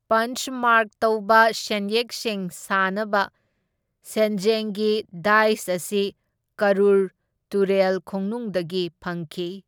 ꯄꯟꯆ mark ꯇꯧꯕ ꯁꯦꯟꯌꯦꯛꯁꯤꯡ ꯁꯥꯅꯕ ꯁꯦꯟꯖꯦꯡꯒꯤ ꯗꯥꯏꯁ ꯑꯁꯤ ꯀꯔꯨꯔ ꯇꯨꯔꯦꯜ ꯈꯣꯡꯅꯨꯡꯗꯒꯤ ꯐꯪꯈꯤ꯫